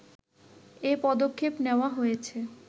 এ পদক্ষেপ নেওয়া হয়েছে